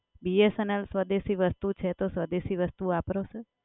BSNL સ્વદેશી વસ્તુ છે તો સ્વદેશી વસ્તુ વાપરો સર.